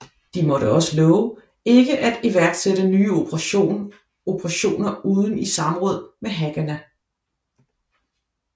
De måtte også love ikke at iværksætte nye operationer uden i samråd med Haganah